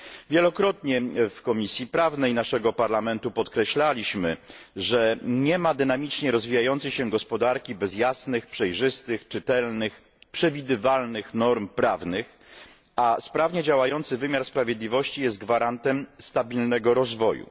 Wielokrotnie w Komisji Prawnej naszego Parlamentu podkreślaliśmy, że nie ma dynamicznie rozwijającej się gospodarki bez jasnych, przejrzystych, czytelnych, przewidywalnych norm prawnych, a sprawnie działający wymiar sprawiedliwości jest gwarantem stabilnego rozwoju.